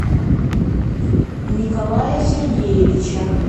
николая сергеевича